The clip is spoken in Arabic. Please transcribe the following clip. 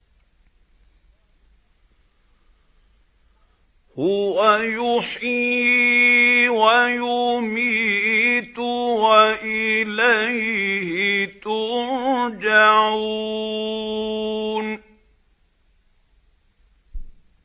هُوَ يُحْيِي وَيُمِيتُ وَإِلَيْهِ تُرْجَعُونَ